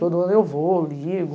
Todo ano eu vou, ligo,